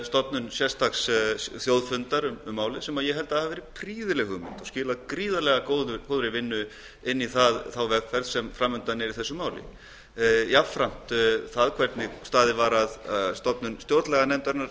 stofnun sérstaks þjóðfundar um málið sem ég held að hafi verið prýðileg hugmynd og skilað gríðarlega góðri vinnu inn í þá vegferð sem fram undan er ég á jafnframt við það hvernig staðið var að stofnun stjórnlaganefndarinnar